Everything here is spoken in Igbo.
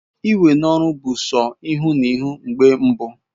Iwe n'oru bu so ihu na ihu mgbe mbụ